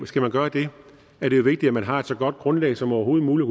skal man gøre det er det jo vigtigt at man har et så godt grundlag som overhovedet muligt